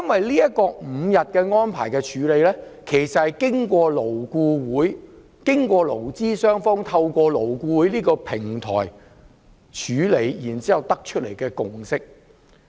五天侍產假其實是勞資雙方透過勞工顧問委員會討論後所得出來的共識。